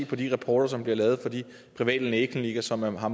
fra de rapporter som bliver lavet fra de private lægeklinikker som har